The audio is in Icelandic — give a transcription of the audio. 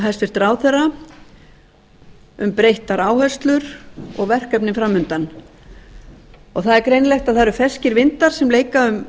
hæstvirtur ráðherra um breyttar áherslur og verkefni fram undan það er greinilegt að það eru ferskir vindar sem leika um